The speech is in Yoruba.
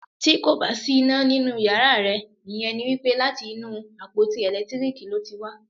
Tí kò bá sí iná nínú yàrá rẹ, ìyẹn ni wípé láti inú àpótí ẹ̀lẹ́tíríkì ló ti wá.